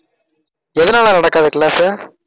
எதனால நடக்காது class உ